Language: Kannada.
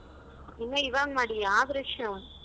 ಇನ್ನ ಈವಾಗ್ ಮಾಡಿಯ brush ಉ?